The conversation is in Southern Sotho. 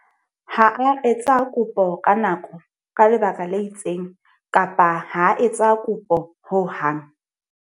Fene e ne e sebetsa bosiu bohle e re phodisa le ho leleka menwang.